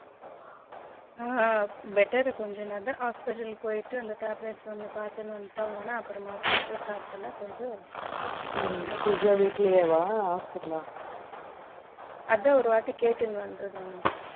better கொஞ்சம் அதுதா hospital போயிட்டு tablet's ஒன்னும் பாத்துட்டு வந்துட்டாங்கன அப்புறமா physio start பண்ண கொஞ்சம் physio வீட்டிலேயே வா இல்ல hospital லய அதுதான் ஒருவாட்டி கேட்டுட்டு வந்துரட்டும்